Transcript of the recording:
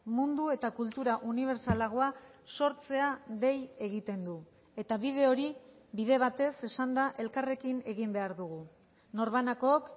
mundu eta kultura unibertsalagoa sortzea dei egiten du eta bide hori bide batez esanda elkarrekin egin behar dugu norbanakook